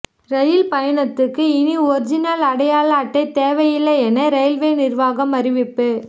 rail பயணத்துக்கு இனி original அடையாள அட்டை தேவையில்லை என ரெயில்வே நிர்வாகம் அறிவிப்பு